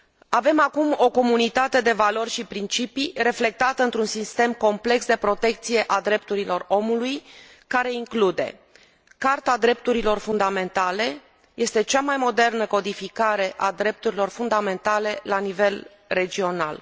Avem acum o comunitate de valori și principii, reflectată într un sistem complex de protecție a drepturilor omului, care include Carta drepturilor fundamentale, cea mai modernă codificare a drepturilor fundamentale la nivel regional.